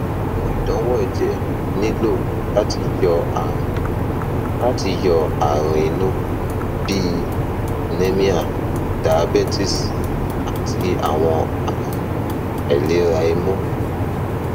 awọn idanwo ẹjẹ nilo lati yọ arun lati yọ arun inu bi anemia diabetes ati awọn arun ailera imun